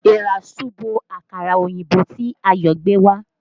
Èèrà súbo àkàrà oyinbo tí Ayo gbé wá